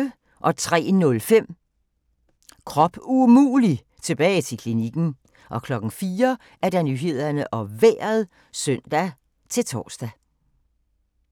03:05: Krop umulig - tilbage til klinikken 04:00: Nyhederne og Vejret (søn-tor)